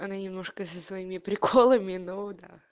она немножко со своими приколами но да